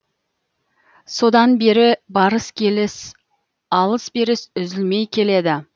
содан бері барыс келіс алыс беріс үзілмей келеді